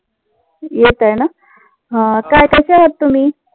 येत आहे ना, हा काय कसे आहात तुम्ही?